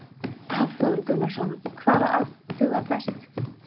Hafþór Gunnarsson: Hvaða agn dugar best?